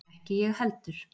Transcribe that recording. Ekki ég heldur.